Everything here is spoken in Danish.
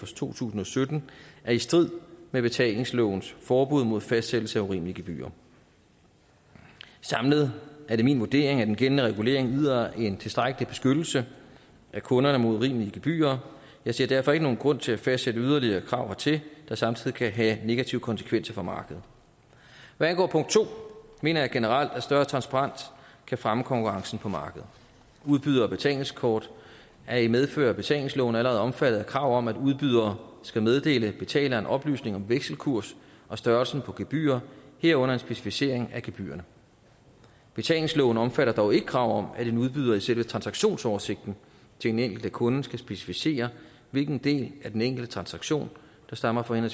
to tusind og sytten er i strid med betalingslovens forbud mod fastsættelse af urimelige gebyrer samlet er det min vurdering at den gældende regulering yder en tilstrækkelig beskyttelse af kunderne mod urimelige gebyrer jeg ser derfor ikke nogen grund til at fastsætte yderligere krav hertil der samtidig kan have negative konsekvenser for markedet hvad angår punkt to mener jeg generelt at større transparens kan fremme konkurrencen på markedet udbydere af betalingskort er i medfør af betalingsloven allerede omfattet af krav om at udbydere skal meddele betaleren oplysning om vekselkurs og størrelsen på gebyrer herunder en specificering af gebyrerne betalingsloven omfatter dog ikke krav om at en udbyder i selve transaktionsoversigten til den enkelte kunde skal specificere hvilken del af den enkelte transaktion der stammer fra